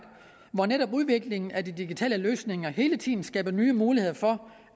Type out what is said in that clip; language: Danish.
hvor netop udviklingen af de digitale løsninger hele tiden skaber nye muligheder for